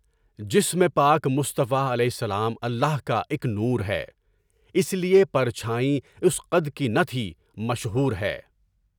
جسم پاک مصطفےٰ علیہ السلام، اللہ کا ایک نور ہے، اس لیے پرچھائیں اس قدر کہ نہ تھی، مشہور ہے۔